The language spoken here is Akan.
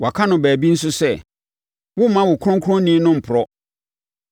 Wɔaka no baabi nso sɛ, “ ‘Woremma wo Kronkronni no mporɔ.’